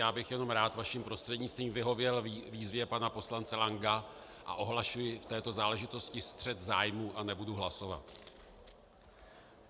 Já bych jenom rád vaším prostřednictvím vyhověl výzvě pana poslance Lanka a ohlašuji v této záležitosti střet zájmů a nebudu hlasovat.